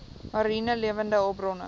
mariene lewende hulpbronne